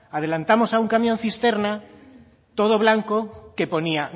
adelantamos a un camión cisterna todo blanco que ponía